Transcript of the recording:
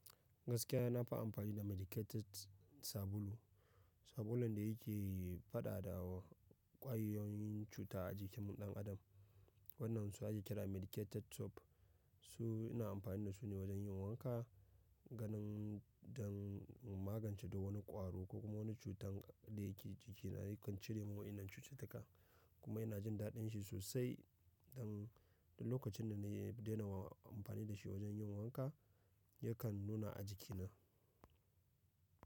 Gaskiya na fi amfani da medicated sabulu. Sabulun da yake faɗa da kwayoyin cuta a jikin ɗan adam. Waɗannan su ake kira medicated soap. Su ina amfani da su ne wajen yin wanka ganin don magance da wani ƙwaro ko kuma wani cutar da yake jikina yakan cire min wainnan cututtuka kuma yana jin daɗin shi sosai. Don duk lokacin da na daina amfani da shi wajen yin wanka yakan nuna a jikina.